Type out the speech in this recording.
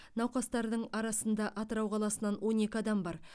науқастардың арасында атырау қаласынанон екі адам бар